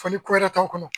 Fɔli ko wɛrɛ t'anw kɔnɔ